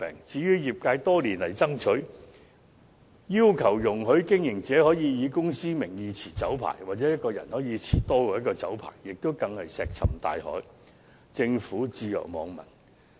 至於業界多年來爭取，希望容許經營者以公司名義持有酒牌，又或容許個人能夠持有多於1個酒牌的要求，更是石沉大海，政府對業界的訴求置若罔聞。